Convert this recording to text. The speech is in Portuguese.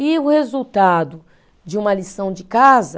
E o resultado de uma lição de casa